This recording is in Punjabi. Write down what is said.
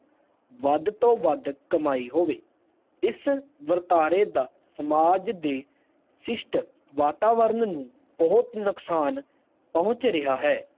ਵੱਧ ਤੋਂ ਵੱਧ ਕਮਾਈ ਹੋਵੇ ਇਸ ਵਰਤਾਰੇ ਦਾ ਸਮਾਜ ਦੇ ਸ਼ਿਸ਼ਤ ਵਾਤਾਵਰਨ ਨੂੰ ਬਹੁਤ ਨੁਕਸਾਨ ਪਹੁਚ ਰਿਹਾ ਹੈ